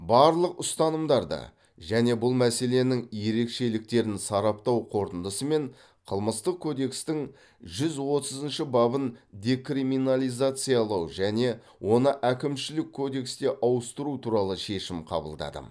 барлық ұстанымдарды және бұл мәселенің ерекшеліктерін сараптау қорытындысы мен қылмыстық кодекстің жүз отызыншы бабын декриминализациялау және оны әкімшілік кодекске ауыстыру туралы шешім қабылдадым